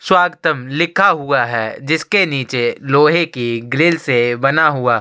स्वागतम लिखा हुआ है जिसके नीचे लोहे की ग्रिल से बना हुआ--